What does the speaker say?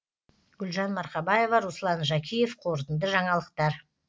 гүлжан марқабаева руслан жакиев қорытынды жаңалықтар